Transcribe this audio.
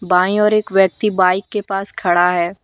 बाईं ओर एक व्यक्ति बाइक के पास खड़ा है।